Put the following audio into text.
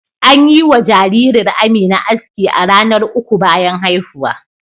An yi wa jaririr Amina aski a ranar uku bayan haihuwa.